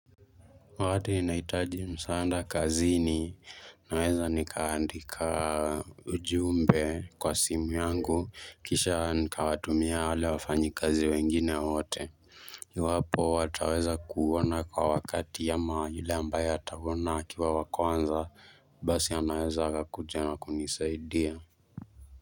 Wakati inaitaji msaanda kazini naweza nikaandika ujumbe kwa simu yangu kisha nikawatumia wale wafanyikazi wengine wote iwapo hawataweza kuona kwa wakati ama yule ambaye ataona akiwa wa kwanza basi anaeza akakuja na kunisaidia.